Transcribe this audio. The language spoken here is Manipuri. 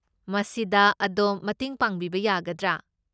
ꯃꯁꯤꯗ ꯑꯗꯣꯝ ꯃꯇꯦꯡ ꯄꯥꯡꯕꯤꯕ ꯌꯥꯒꯗ꯭ꯔꯥ?